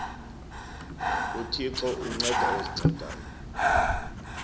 uthixo unceda ozincedayo